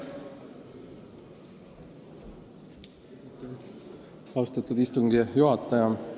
Austatud istungi juhataja!